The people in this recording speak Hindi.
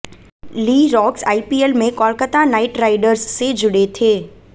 ली राक्स आईपीएल में कोलकाता नाइटराइडर्स से जुड़े थे